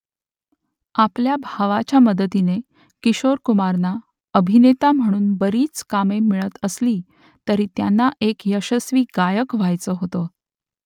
आपल्या भावाच्या मदतीने किशोर कुमारना अभिनेता म्हणून बरीच कामे मिळत असली तरी त्यांना एक यशस्वी गायक व्ह्यायचं होतं